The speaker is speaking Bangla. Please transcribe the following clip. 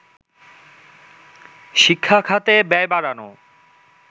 শিক্ষা খাতে ব্যয় বাড়ানো